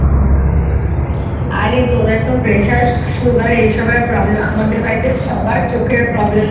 আরে তোদের তো Pressure Sugar এসব এর Problem আমাদের বাড়িতে সবার চোখের Problem